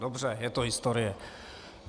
Dobře, je to historie.